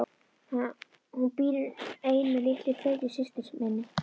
Hún býr ein með litlu feitu systur minni.